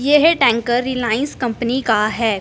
यह tanker Reliance company का है।